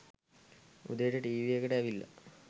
උදේට T V එකට ඇවිල්ලා